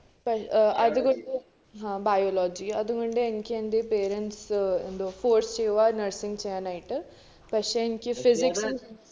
പഷ് ഏർ അത്കൊണ്ട് ആഹ് biology അത്കൊണ്ട് എനിക്ക് എന്റെ parents ഏർ ന്തുവാ nursing ചെയ്യാനായിട്ട്, പക്ഷെ എനിക്ക് physics